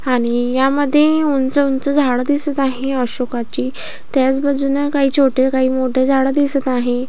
आणि यामध्ये उंच उंच झाड दिसत आहे अशोकाची त्याच बाजूने काही छोटे काही मोठे झाड दिसत आहे.